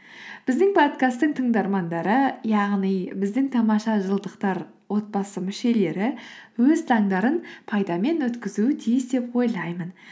біздің подкасттың тыңдармандары яғни біздің тамаша жылдықтар отбасы мүшелері өз таңдарын пайдамен өткізуі тиіс деп ойлаймын